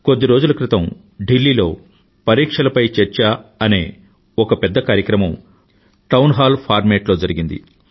కొద్ది రోజుల క్రితం ఢిల్లీలో పరీక్షలపై చర్చ అనే ఒక పెద్ద కార్యక్రమం టౌన్ హాల్ ఫార్మాట్ లో జరిగింది